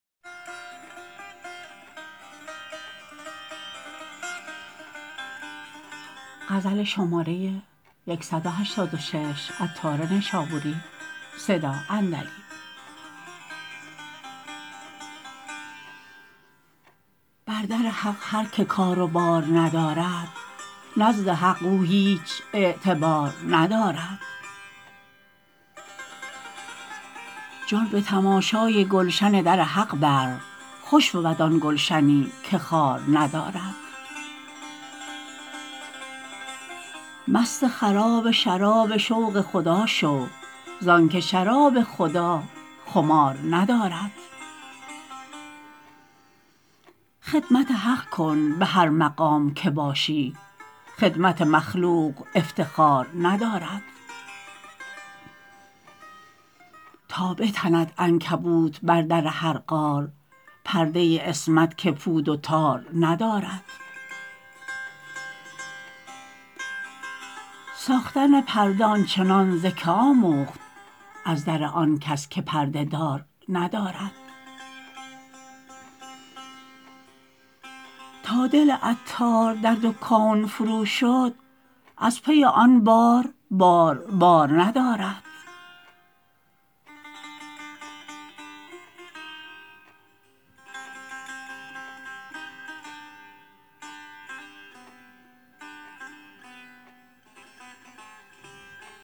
بر در حق هر که کار و بار ندارد نزد حق او هیچ اعتبار ندارد جان به تماشای گلشن در حق بر خوش بود آن گلشنی که خار ندارد مست خراب شراب شوق خدا شو زانکه شراب خدا خمار ندارد خدمت حق کن به هر مقام که باشی خدمت مخلوق افتخار ندارد تا بتند عنکبوت بر در هر غار پرده عصمت که پود و تار ندارد ساختن پرده آنچنان ز که آموخت از در آنکس که پرده دار ندارد تا دل عطار در دو کون فروشد از پی آن بار بار بار ندارد